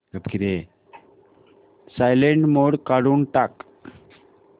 silent mode काढून टाक